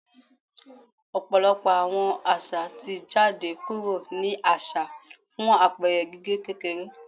Ọpọlọpọ awọn aza ti jade kuro ni aṣa fun apẹẹrẹ gige kekere